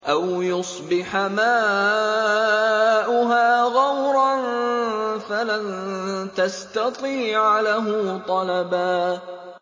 أَوْ يُصْبِحَ مَاؤُهَا غَوْرًا فَلَن تَسْتَطِيعَ لَهُ طَلَبًا